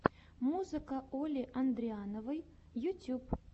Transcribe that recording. музыка оли андриановой ютьюб